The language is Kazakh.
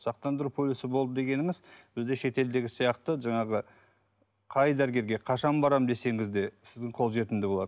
сақтандыру полисі болды дегеніңіз бізде шетелдегі сияқты жаңағы қай дәрігерге қашан барамын десеңіз де сіздің қолжетімді болады